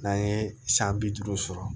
N'an ye san bi duuru sɔrɔ